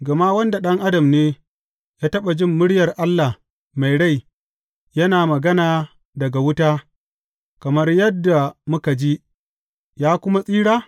Gama wanda ɗan adam ne ya taɓa jin muryar Allah mai rai yana magana daga wuta, kamar yadda muka ji, ya kuma tsira?